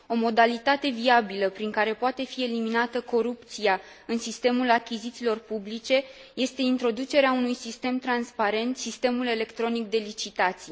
O modalitate viabilă prin care poate fi eliminată corupția în sistemul achizițiilor publice este introducerea unui sistem transparent, sistemul electronic de licitații.